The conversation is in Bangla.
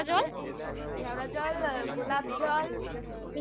কেওড়া জল গোলাপজল মিঠা আতর মিঠা আতর